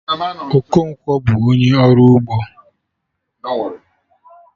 Okonkwo bụ onye ọrụ ugbo